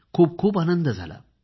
खूप खूप आनंद झाला